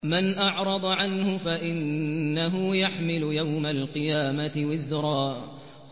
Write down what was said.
مَّنْ أَعْرَضَ عَنْهُ فَإِنَّهُ يَحْمِلُ يَوْمَ الْقِيَامَةِ وِزْرًا